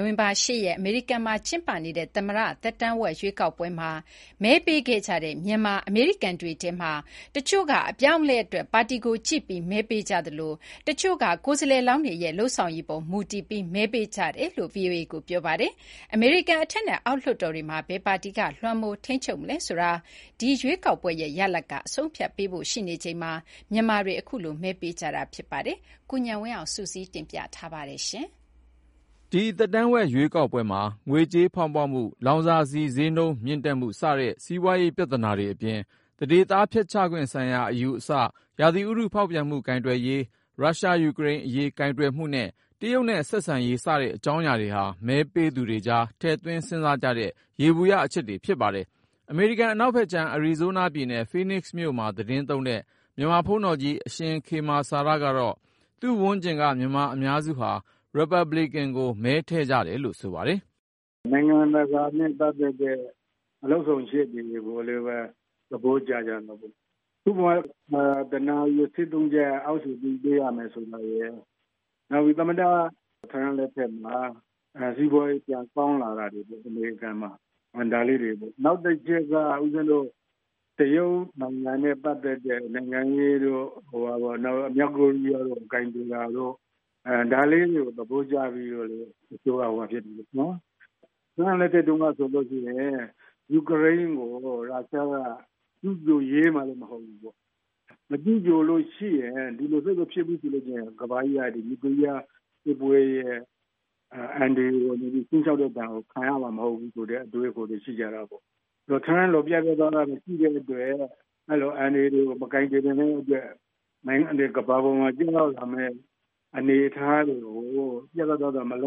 ိုဝင်ဘာ ရက် အမေရိကန်မှာ ကျင်းပတဲ့ သမ္မတ သက်တမ်းဝက် ရွေးကောက်ပွဲမှာ မဲပေးခဲ့ကြတဲ့ မြန်မာနွယ်ဖွား အမေရိကန်တွေထဲမှာတော့ ၊ တချို့က အပြောင်းအလဲအတွက် ပါတီကိုကြည့်ပြီး မဲပေးကြသလို ၊ တချို့ကလည်း ကိုယ်စားလှယ်လောင်းတွေရဲ့ လုပ်ဆောင်ရည်ပေါ် မူတည်ပြီး မဲပေးခဲ့ကြတယ်လို့ VOA ကို ပြောပါတယ်။ အမေရိကန် အထက်နဲ့အောက် လွှတ်တော်တွေမှာ ဘယ်ပါတီက လွှမ်းမိုး ထိန်းချုပ်မလဲဆိုတာ ဒီရွေးကောက်ပွဲရဲ့ ရလာဒ်က အဆုံးအဖြတ်ပေးဖို့ ရှိနေချိန်မှာ မြန်မာတွေ အခုလို မဲပေးခဲ့ကြတာပါ။ ကိုဉာဏ်ဝင်းအောင်က စုစည်းတင်ပြထားပါတယ်။ ဒီ သက်တမ်းဝက် ရွေးကောက်ပွဲမှာ ငွေကြေးဖေါင်းပွမှု လောင်စာဆီဈေးမြင့်တက်မှု စတဲ့ စီးပွားရေးပြသနာတွေအပြင် သန္ဓေသားဖျက်ချခွင့်ဆိုင်ရာအယူအဆ၊ ရာသီဥတုဖေါက်ပြန်မှု ကိုင်တွယ်ရေး၊ ရုရှား-ယူကရိန်းအရေး ကိုင်တွယ်မှုနဲ့ တရုတ်နဲ့ဆက်ဆံရေး စတဲ့ အကြောင်းအရာတွေဟာ မဲပေးသူတွေကြား ထည့်သွင်းစဉ်းစားကြတဲ့ ယေဘုယျ အချက်တွေဖြစ်ပါတယ်။ အမေရိကန် အနောက်ဖက်ခြမ်း အရီဇိုးနားပြည်နယ် ဖိနစ်မြို့မှာ သီတင်းသုံးတဲ့ မြန်မာဘုန်းတော်ကြီး အရှင်ခေမာစာရကတော့ သူ့ဝန်းကျင်က မြန်မာအများစုက ရီပတ်ဘလစ်ကင်ကို မဲထည့်ကြတယ်လို့ ဆိုပါတယ်။ " နိုင်ငံတကာနဲ့ ပတ်သက်တဲ့ လုပ်ဆောင်ချက်တွေကိုလည်း သဘောကျကြလို့ပေါ့။ ဥပမာ လုပ်ခ တနာရီကို ဒေါ်လာထိ တိုးပေးခဲ့တာရယ်၊ သမ္မတ ထရမ့်လက်ထက် အမေရိကန်မှာ စီးပွားရေး ပြန်ကောင်းလာတာရယ်၊ နောက်တချက်က တရုတ်နိုင်ငံနဲ့ ပတ်သက်တဲ့ နိုင်ငံရေးတို့.. နောက်ပြီး မြောက်ကိုရီးယားအရေးကို ကိုင်တွယ်တာတို့ ဒါလေးတွေကို သဘောကျပြီး မဲထည့်တာတွေရှိတယ်။ ထရမ့်လက်ထက် တုန်းကဆိုရင် ယူကရိန်းကို ရုရှားက ကျူးကျော်ရဲမှာလည်း မဟုတ်ဘူး။ မကျူးကျော်ရင် ခုလို စစ်ဖြစ်မလာဘူးဆိုရင် ကမ္ဘာကြီးက နျူကလီးယား ခြိမ်းခြောက်မှုအန္တရယ်ကို ကြုံလာရမှာ မဟုတ်ဘူးဆိုတဲ့အတွေး ရှိကြတာပေ့ါ။ ထရမ့်လို ပြတ်ပြတ်သားသား မရှိတဲ့အတွက် အဲဒီလို အန္တရာယ်တွေကို မကိုင်တွယ်နိုင်တဲ့အတွက် ဒီကနေ့ ရုရှားက ယူကရိန်းကို တိုက်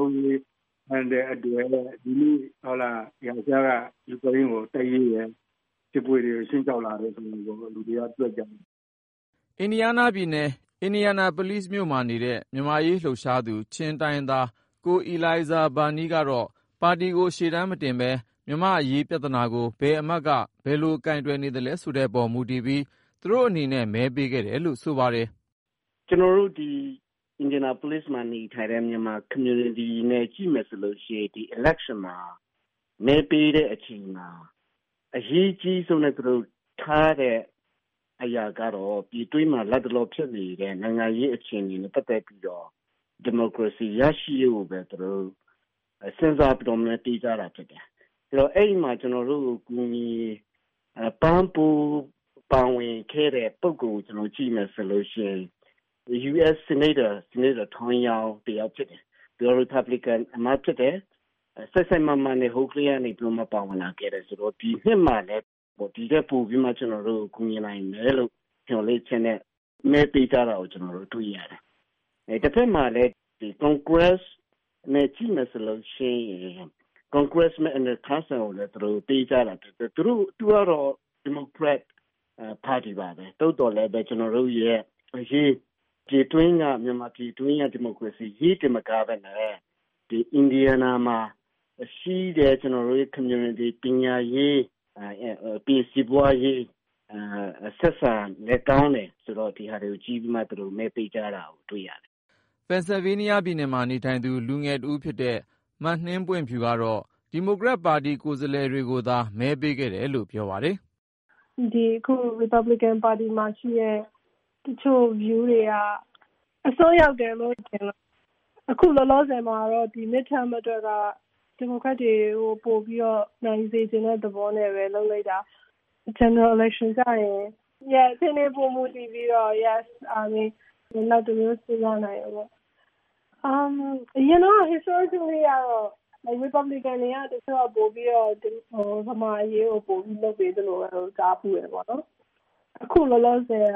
ရဲတယ်။ စစ်ပွဲတွေ ဖြစ်လာရတယ်လို့ လူတွေက သုံးသပ်ကြတာ။ " အင်ဒီယားနားပြည်နယ် အင်ဒီယာနာပုလိဇ်မြို့မှာနေတဲ့ မြန်မာ့အရေးလှုပ်ရှားသူ ချင်းအမျိုးသား ကိုအီလိုင်ဇာဘာနီးကတော့ ပါတီကို ရှေးတန်းမတင်ပဲ မြန်မာ့နိုင်ငံရေးပြဿနာကို ဘယ်အမတ်က ဘယ်လို ကိုင်တွယ်နေသလဲဆိုတဲ့အပေါ် မူတည်ပြီး သူတို့အနေနဲ့ မဲပေးခဲ့တယ်လို့ ဆိုပါတယ်။ " ကျနော်တို့ ဒီ အင်ဒီယာနာပုလိဇ်မြို့မှာ နေထိုင်တဲ့ မြန်မာ အသိုင်းအဝိုင်းအနေနဲ့ ဒီရွေးကောက်ပွဲမှာ မဲပေးတဲ့အခါ အဓိက ထားတာကတော့ မြန်မာပြည်တွင်းမှာ ဖြစ်နေတဲ့ နိုင်ငံရေး အခြေအနေပေါ် မူတည်ပြီး ဒီမိုကရေစီပြန်ရရေးကိုပဲ အခြေခံပြီး သူတို့ စဉ်းစားပြီး မဲပေးကြတာဖြစ်တယ်။ အဲဒီတော့ ကျနော်တို့ကို ကူညီပံ့ပိုးပေးတဲ့ ရီပတ်ဘလစ်ကန် အထက်လွှတ်တော်အမတ် ဆီနိတ်တာ Todd Young က တစိုက်မတ်မတ်နဲ့ ဟိုးကတည်းကနေ မြန်မာ့အရေး လုပ်လာပေးခဲ့တာဆိုတော့ ဒီနှစ်မှာလည်း ကျနော်တို့ကို ဒီထက် ပို ကူညီနိုင်လိမ့်မယ်ဆိုတဲ့ မျှော်လင့်ချက်နဲ့ သူ့ကို မဲပေးကြတာ။ တဖက်မှာ အောက်လွှတ်တော် ကွန်ဂရက်ဖက်မှာတော့ ဒီမိုကရက် အမတ်တယောက်ကို ကျနော်တို့ ဝိုင်းပြီး မဲပေးကြတယ်။ အဓိကတော့ ပြည်တွင်းက မြန်မာပြည်အရေးတင် မကပဲနဲ့ အင်ဒီယားနားပြည်နယ်က ကျနော်တို့ လူမှုအသိုင်းဝိုင်းရဲ့ ပညာရေး စီးပွားရေး တန်းတူရေး စတာတွေအတွက် လုပ်ပေးနေတာကို ကြည့်ပြီးတော့မှ မဲပေးတာ တွေ့ရတယ်။ " ပင်ဆယ်ဗေးနီးယားပြည်နယ်မှာနေထိုင်သူ လူငယ်တဦးဖြစ်တဲ့ မနှင်းပွင့်ဖြူကတော့ ဒီမိုကရက်ပါတီကိုယ်စားလှယ်တွေကိုသာ မဲပေးခဲ့တယ်လို့ ပြောပါတယ်။ " ဒီ ရီပတ်ဘလစ်ကန်ပါတီမှာရှိတဲ့ တချို့တွေက အစွန်းရောက်တယ်ထင်လို့ အခုလောလောဆယ် ဒီ Midterms သက်တမ်းဝက် ရွေးကောက်ပွဲအတွက်က ဒီမိုကရက်တွေကို ပို နိုင်စေချင်တဲ့အတွက် သူတို့ကို မဲပေးလိုက်တာ။ အထွေထွေ ရွေးကောက်ပွဲကျရင်တော့ အခြေအနေပေါ် မူတည်ပြီး နောက်တမျိုး စဉ်းစားရလိမ့်မယ်။ အရင်တုန်းကတော့ ရီပတ်ဘလစ်ကန်တွေက မြန်မာ့အရေးကို ပိုလုပ်ပေးတယ်လို့ ကြားဖူးတာပေါ့။ အခုလောလောဆယ်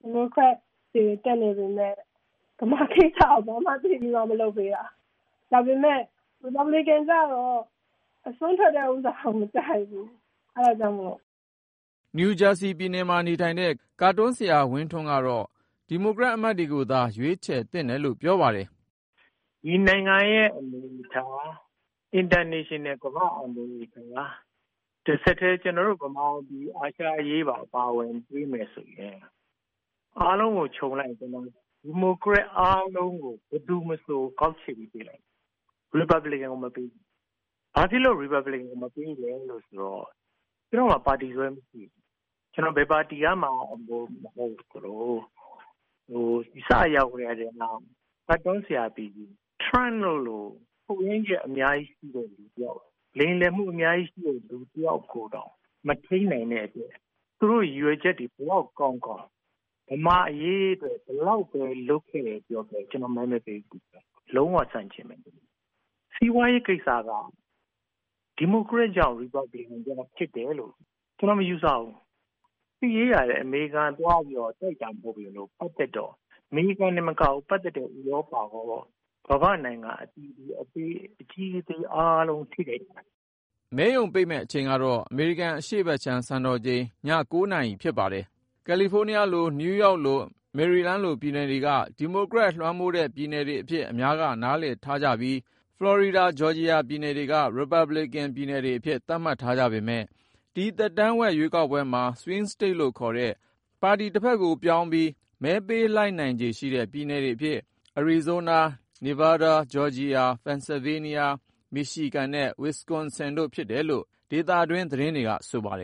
ဒီမိုကရက်တွေ တက်နေပေမဲ့ မြန်မာကိစ္စကို ဘာမှ သိပ်ပြီး မလုပ်ပေးဘူးလို့မြင်တယ်။ ဒါပေမဲ့လည်း ရီပတ်ဘလစ်ကန်ရဲ့ အစွန်းရောက်တာကို မကြိုက်လို့ မဲ မပေးတာ။ " နယူးဂျာစီပြည်မှာ နေထိုင်တဲ့ ကာတွန်းဆရာ ဦးဝင်းထွန်းကတော့ ဒီမိုကရက်အမတ်တွေကိုသာ ရွေးချယ်သင့်တယ်လို့ ပြောပါတယ်။ " ဒီနိုင်ငံရဲ့ အနေအထား၊ နိုင်ငံတကာရဲ့အနေအထား မြန်မာ့အရေးပါ ဆက်စပ်ပြီး အားလုံးကို ခြုံကြည့်ရင် ကျနော်ကတော့ ဒီမိုကရက် အားလုံး ဘယ်သူ့ကိုမဆို မဲပေးမှာပဲ ၊ ရီပတ်ဘလစ်ကန်ကို မပေးဘူး ဘာဖြစ်လို့လဲဆိုရင်..ကျနော့်မှာ ပါတီစွဲ မရှိဘူး ကျနော်က ဘယ်ပါတီဝင်မှ မဟုတ်ဘူး။ ကျနော်က ကာတွန်းဆရာပီပီ ထရမ့်တို့လို ချို့ယွင်းချက် အများကြီးရှိတဲ့လူတယောက် ၊ လိမ်လည်မှု အများကြီး ရှိတဲ့ လူတယောက်ကိုတောင် မထိန်းနိုင်တဲ့အတွက် သူတို့ရည်ရွယ်ချက်တွေ ဘယ်လောက် ကောင်းကောင်း ဗမာ့အရေးအတွက် ဘယ်လောက်ပဲ လုပ်ခဲ့တယ်ပြောပြော ကျနော်ကတော့ မဲ မပေးဘူးဗျ လုံးဝဆန့်ကျင်တယ်။ ခု စီးပွားရေးကိစ္စက ဒီမိုကရက်ကြောင့် ရီပတ်ဘလစ်ကန်ကြောင့် ဖြစ်တယ်လို့ ကျနော် မယူဆဘူး။ ကိုဗစ်နောက်ဆက်တွဲ ဖြစ်တယ်။ စစ်ရေးကလည်း အမေရိကန်က သွားတိုက်တာ မဟုတ်ပေမဲ့ ပတ်သက်နေတော့ အမေရိကန်တင်မကပဲ ပတ်သက်နေတဲ့ ဥရောပရော ကမ္ဘာ့နိုင်ငံ အသီးသီးကပါ ထိခိုက်ကုန်တယ်။ " မဲရုံ ပိတ်မယ့်အချိန်ကတော့ အမေရိကန် အရှေ့ဖက်ခြမ်း စံတော်ချိန် နာရီဖြစ်ပါတယ်။ ကယ်လီဖိုးနီးယားလို၊ နယူးယောက်လို မေရီလန်းလို ပြည်နယ်တွေက ဒီမိုကရက်လွှမ်းမိုးတဲ့ ပြည်နယ်တွေအဖြစ် အများက နားလည်ထားကြသလို၊ ဖလော်ရီဒါ ဂျောဂျီယာပြည်တွေက ရီပတ်ဘလစ်ကင် ပြည်နယ်တွေအဖြစ် သတ်မှတ်ထားကြပေမယ့် ဒီ သက်တမ်းဝက် ရွေးကောက်ပွဲမှာ Swing States လို့ ခေါ်တဲ့ ပါတီဖက်ကို ပြောင်းပြီး မဲပေးလိုက်နိုင်ခြေရှိတဲ့ ပြည်နယ်တွေအဖြစ် အရီဇိုနား၊ နီဗားဒါး၊ ဂျော့ဂျီယာ၊ ပန်ဆယ်ဗေးနီးယား၊ မီရှီဂန်နဲ့ ဝစ်စကွန်ဆင် တို့ဖြစ်တယ်လို့ ဒေသတွင်း သတင်းတွေက ဆိုပါတယ်